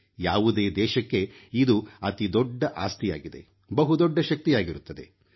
ಯಾವುದೇ ದೇಶಕ್ಕೆ ಇದು ಅತಿ ದೊಡ್ಡ ಆಸ್ತಿಯಾಗಿದೆ ಬಹುದೊಡ್ಡ ಶಕ್ತಿಯಾಗಿರುತ್ತದೆ